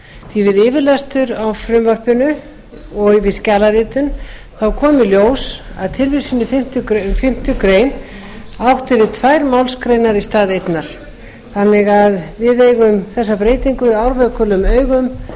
því við yfirlestur á frumvarpinu og í skjalaritun kom í ljós að tilvísun í fimmtu grein átti við tvær málsgreinar í stað einnar þannig að við eigum þessa breytingu árvökulum augum